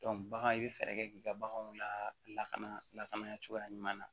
bagan i bɛ fɛɛrɛ kɛ k'i ka baganw lakana lakana cogoya ɲuman na